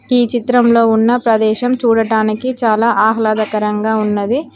ఈ చిత్రంలో ఉన్న ప్రదేశం చూడటానికి చాలా ఆహ్లాదకరంగా ఉన్నది.